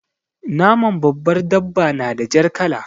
Naman babbar dabba na da jar kala.